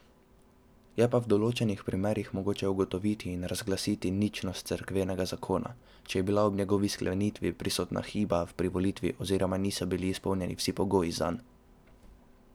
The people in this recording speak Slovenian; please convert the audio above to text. Je pa v določenih primerih mogoče ugotoviti in razglasiti ničnost cerkvenega zakona, če je bila ob njegovi sklenitvi prisotna hiba v privolitvi oziroma niso bili izpolnjeni vsi pogoji zanj.